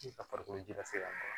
A farikolo ji lasɛ ma